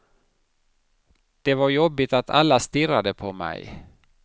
Det var jobbigt att alla stirrade på mig.